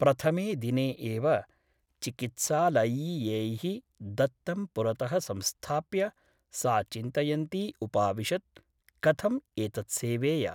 प्रथमे दिने एव चिकित्सालयीयैः दत्तं पुरतः संस्थाप्य सा चिन्तयन्ती उपाविशत् ' कथम् एतत् सेवेय ?